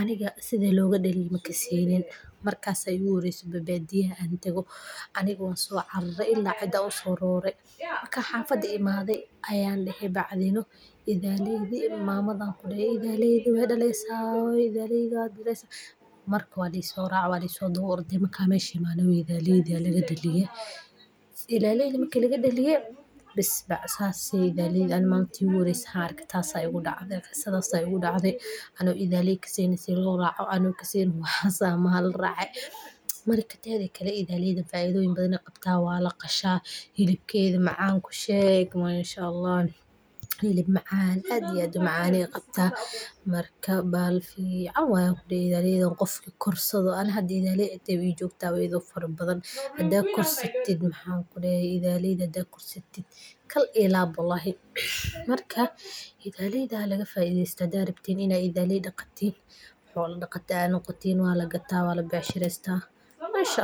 aniga sidha loga dhaliyo makasenin, markas baa igu horese badiya an tago aniga wan so carare idan uso rore, markan xafada imade ayan dehe , mama aya kudehe hooyo idhaleyda wey dhaleysa , walaiso race oo idhaleydi aya lagadaliye, marki lagadaliye bes sas bey, tas baa igu dacde marki igu horese oo an idholey arko, ano kasenin idholeyda sidha loo raco, marka teda kale idholeyda faidoyin badan ayey leyihin walaqasha ,xilibkeda macan ku sheg masha ALLAH .Xilib macan aad iyo aad u macan ayey qabta maac waye ayan kudehe idholeydan ruxi korsado ,aniga hada gurigey ba i jogta igo fara badan ,maxan kudehe idholeyda hadi korsatid kol iyo lab waye aniga hada gurigey ii jogan, marka idhaleyda halaga faideysto hadad rabtin inaad idholey daqatin, xolo daqata aad noqotin waa lagataa, waa la becsharesta masha ALLAH.